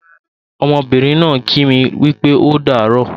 Ọmọbìnrin náà ń kí mi wípé ódààrọ́